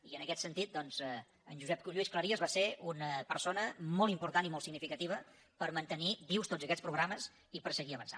i en aquest sentit doncs en josep lluís cleries va ser una persona molt important i molt significativa per mantenir vius tots aquests programes i per seguir avançant